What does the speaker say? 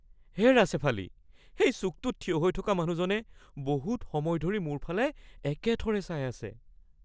হেৰা শ্বেফালী, সেই চুকটোত থিয় হৈ থকা মানুহজনে বহুত সময় ধৰি মোৰ ফালে একেথৰে চাই আছে।